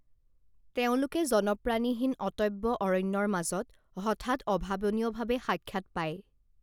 তেওঁলোকে জনপ্ৰাণীহীন অটব্য অৰণ্যৰ মাজত হঠাৎ অভাৱনীয়ভাৱে সাক্ষাৎ পায়